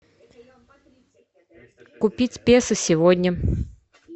купить песо сегодня